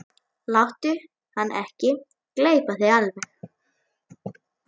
Láttu hann ekki gleypa þig alveg!